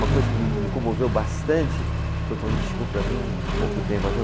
Uma coisa que me, me comoveu bastante foi quando ele chegou para mim há pouco tempo atrás.